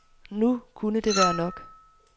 Nu kunne det være nok.